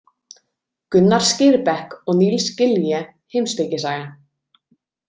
Gunnar Skirbekk og Nils Gilje Heimspekisaga.